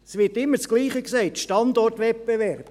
– Es wird immer dasselbe gesagt: Standortwettbewerb.